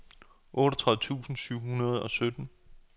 otteogtredive tusind syv hundrede og sytten